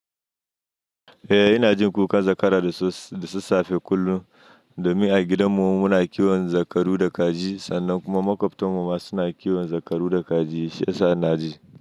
Eh ina jin kuka zakara da sassafe kullum. Domin a gidanmu muna kiwon zakaru da kaji sannan kuma maƙwabtanmu ma suna kiwon zakaru da kaji. Shiyasa ina ji.